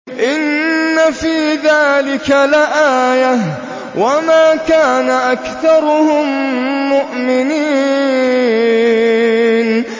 إِنَّ فِي ذَٰلِكَ لَآيَةً ۖ وَمَا كَانَ أَكْثَرُهُم مُّؤْمِنِينَ